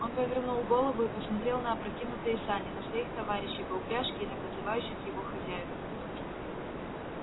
он повернул голову и посмотрел на опрокинутые сани на своих товари-щей по упряжке и на подзывающих его хозяев